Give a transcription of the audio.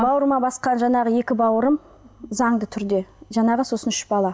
бауырыма басқан жаңағы екі бауырым заңды түрде жаңағы сосын үш бала